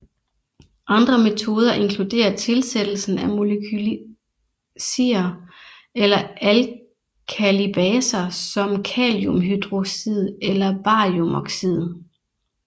Andre metoder inkluderer tilsættelsen af molekylsier eller alkalibaser som kaliumhydroxid eller bariumoxid